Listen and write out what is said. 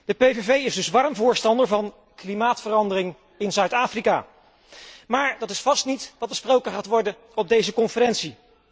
De PVV is dus warm voorstander van klimaatverandering in Zuid Afrika, maar dat is vast niet wat besproken gaat worden op deze conferentie.